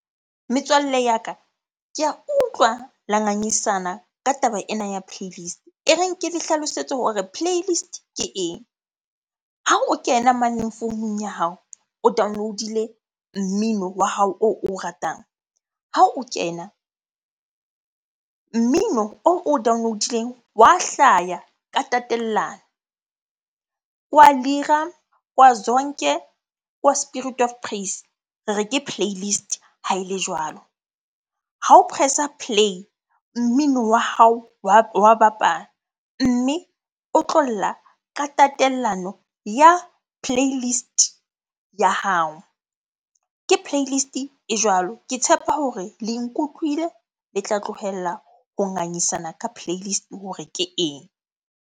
Metswalle ya ka, ke a utlwa la ngangisana ka taba ena ya playlist. E reng ke le hlalosetse hore playlist ke eng? Ha o kena mane founung ya hao, o download-ile mmino wa hao oo o ratang. Ha o kena, mmino oo o download-ileng wa hlaya ka tatellano. Ke wa Lira, ke wa Zonke, ke wa Spirit of Praise. Re re ke playlist ha ele jwalo. Ha o press-a play, mmino wa hao wa bapala. Mme o tlo lla ka tatellano ya playlist ya hao. Ke playlist e jwalo. Ke tshepa hore le nkutlwile le tla tlogella ho ngangisana ka playlist hore ke eng?